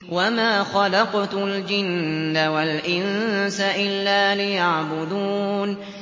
وَمَا خَلَقْتُ الْجِنَّ وَالْإِنسَ إِلَّا لِيَعْبُدُونِ